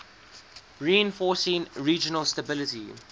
reinforcing regional stability